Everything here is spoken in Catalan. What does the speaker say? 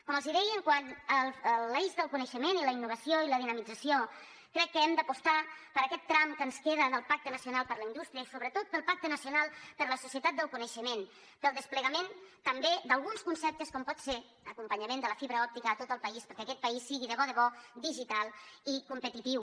com els deia quant a l’eix del coneixement i la innovació i la dinamització crec que hem d’apostar per aquest tram que ens queda del pacte nacional per a la indústria i sobretot pel pacte nacional per a la societat del coneixement pel desplegament també d’alguns conceptes com pot ser l’acompanyament de la fibra òptica a tot el país perquè aquest país sigui de bo de bo digital i competitiu